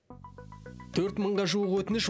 төрт мыңға жуық өтініш